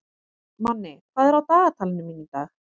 Manni, hvað er á dagatalinu mínu í dag?